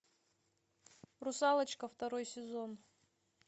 русалочка второй сезон